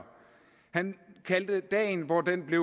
han kaldte dagen hvor det